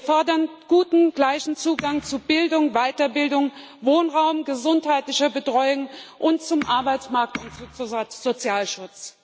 Wir fordern guten, gleichen Zugang zu Bildung, Weiterbildung, Wohnraum, gesundheitlicher Betreuung und zum Arbeitsmarkt und zum Sozialschutz.